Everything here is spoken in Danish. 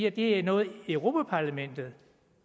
at det er noget europa parlamentet